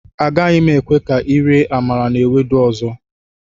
Agaghị m ekwe ka ị rie amala na Ewedu ọzọ